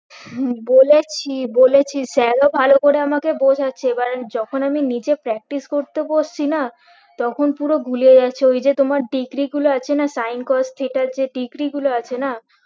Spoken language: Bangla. হম বলেছি বলেছি sir ও ভালো করে আমাকে বোঝাচ্ছে এবার আমি যখন আমি নিজে practice করতে বসছি না তখন পুরো ভুলিয়ে যাচ্ছে ওই যে তোমার degree গুলো আছে না sin cos theta এর যে degree গুলো আছে না